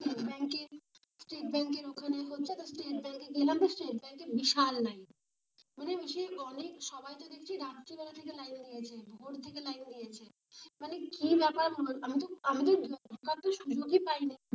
State ব্যাংকের ওখানে হচ্ছে, তো স্টেট ব্যাংকে, স্টেট ব্যাঙ্কে বিশাল লাইন মানে সবাই তো দেখছি রাতের বেলা থেকে, ভোর থেকে লাইন দিয়েছে। কি ব্যাপার আমি তো, আমি তো সুযোগই পায়নি।